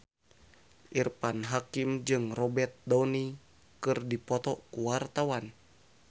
Irfan Hakim jeung Robert Downey keur dipoto ku wartawan